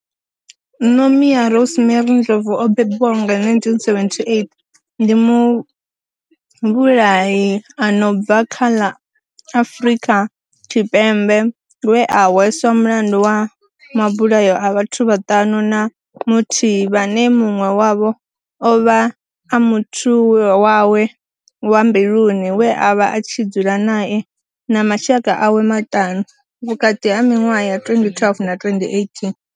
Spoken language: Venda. Nomia Rosemary Ndlovu o bebiwaho nga, 1978, ndi muvhulahi a no bva kha ḽa Afurika Tshipembe we a hweswa mulandu wa mabulayo a vhathu vhaṱanu na muthihi vhane munwe wavho ovha a muthu wawe wa mbiluni we avha a tshi dzula nae na mashaka awe maṱanu, vhukati ha minwaha ya 2012 na 2018.